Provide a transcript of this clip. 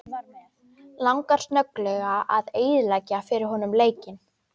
Langar snögglega að eyðileggja fyrir honum leikinn.